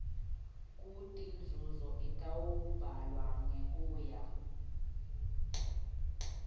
kutinzunzo itawubalwa ngekuya